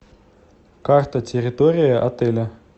карта территории отеля